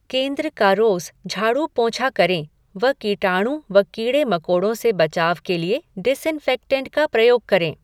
केन्द्र का रोज़ झाडू पोंछा करें व कीटाणु व कीड़े मकोड़ों से बचाव के लिए डिसइनफ़ेक्टेंट का प्रयोग करें।